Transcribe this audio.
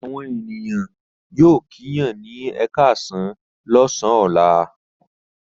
Àwọn ènìyàn yóò kíyàn ní ẹ káàsán lọ́sàn-án ọ̀la.